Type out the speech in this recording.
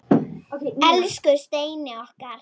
Elsku Steini okkar.